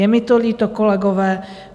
Je mi to líto, kolegové.